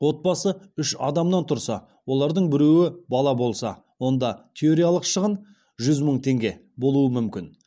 отбасы үш адамнан тұрса олардың біреуі бала болса онда теориялық шығын жүз мың теңге болуы мүмкін